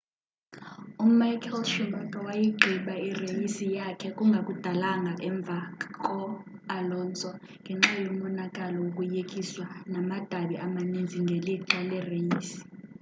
umichael schumacher wayigqiba ireyisi yakhe kungakudalanga kakhulu emva ko alonso ngenxa yomonakalo wokuyekiswa namadabi amaninzi ngelixa lereyisi